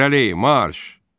İrəli, marş!